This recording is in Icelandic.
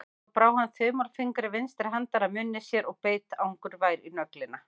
Svo brá hann þumalfingri vinstri handar að munni sér og beit angurvær í nöglina.